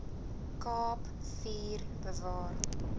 kaap vier bewaar